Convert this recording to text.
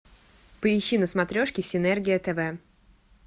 поищи на смотрешке синергия тв